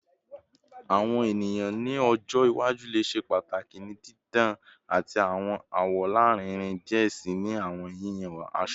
Awọn eniyan ni ọjọ iwaju le ṣe pataki ni didan ati awọn awọ larinrin diẹ sii ni awọn yiyan aṣọ